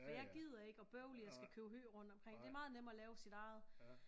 For jeg gider ikke og bøvle jeg skal købe hø rundt omkring det meget nemmere at lave sit eget